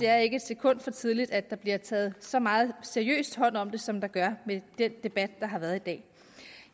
er et sekund for tidligt at der bliver taget så meget så seriøst hånd om det som der gør med den debat der har været i dag